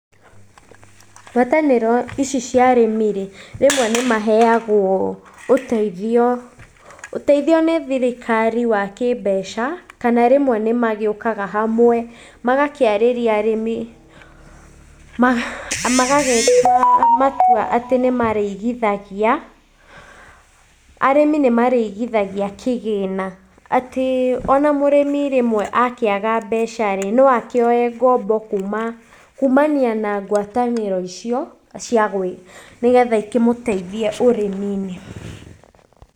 Ngwatanĩro ici cia arĩmi rĩ, rĩmwe nĩmaheagwo ũteithio, ũteithio nĩthirikari wakĩmbeca kana rĩmwe nĩmagĩũkaga hamwe magakĩarĩria arĩmi , magagĩtua matua atĩ nĩmarĩigithagia. Arĩmi nĩmarĩigithagia kĩgĩna, atĩ onamũrĩmi rĩmwe akĩaga mbecarĩ, noakĩoye ngombo kuuma, kumania na ngwatanĩro icio nĩgetha ikimũteithie ũrĩmiinĩ.